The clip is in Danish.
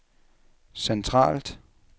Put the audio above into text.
centralt